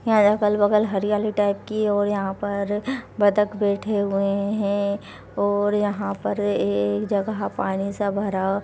यहाँ अगल-बगल हरियाली टाइप की और यहां पर बतख बैठे हुए हैं और यहाँ पर एक जगह पानी सा भरा --